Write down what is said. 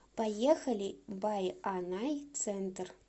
поехали байанай центр